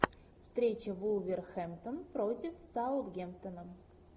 встреча вулверхэмптон против саутгемптона